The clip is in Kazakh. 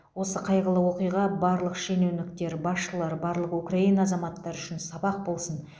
осы қайғылы оқиға барлық шенеуніктер басшылар барлық украина азаматтары үшін сабақ болсын